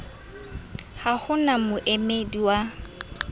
ha ho na moemedi wa